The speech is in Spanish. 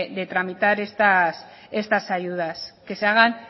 de tramitar estas ayudas que se hagan